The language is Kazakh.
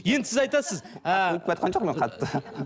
енді сіз айтасыз ы